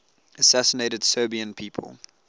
assassinated serbian people